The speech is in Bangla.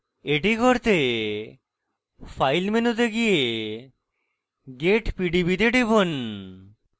এটি করতে file মেনুতে গিয়ে get pdb to টিপুন